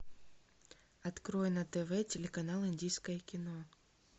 открой на тв телеканал индийское кино